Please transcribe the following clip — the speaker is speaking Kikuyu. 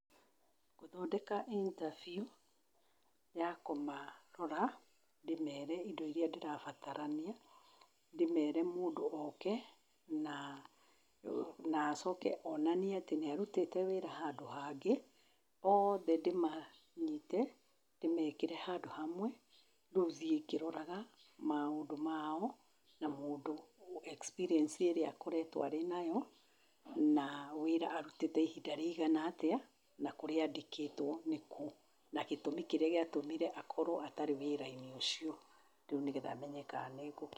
Ngũmetĩra intabiũ ya kũmarora, ndĩmere indo iria ndĩrabatarania, ndĩmere mũndũ oke na, naacoke onanie atĩnĩarutĩte wĩra handũ hangĩ. Othe ndĩmanyite ndĩmekĩre handũ hamwe, rĩu thiĩ ngĩroraga maũndũ mao na mũndũ experience ĩrĩa akoretwo enayo na wĩra arutĩte ihinda rĩigana atĩa na kũrĩa andĩkĩtwo nĩko na gĩtũmi kĩrĩa gĩatũmire akorwo atarĩa wĩra-inĩ ũcio rĩu nĩgetha menye kana nĩngũkĩ